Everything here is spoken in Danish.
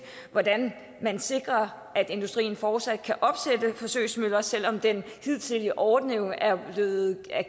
hvordan man sikrer at industrien fortsat kan opsætte forsøgsmøller selv om den hidtidige ordning er blevet